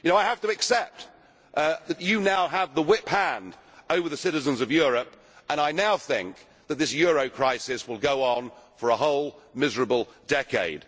I have to accept that you now have the whip hand over the citizens of Europe and I now think that this euro crisis will go on for a whole miserable decade.